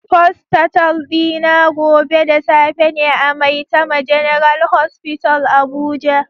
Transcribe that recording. Postatal dina gobe da safe ne a maitama general hospital abuja